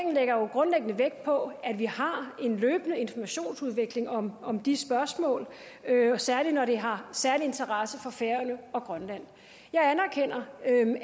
grundlæggende vægt på at vi har en løbende informationsudveksling om om de spørgsmål særlig når det har særlig interesse for færøerne og grønland jeg anerkender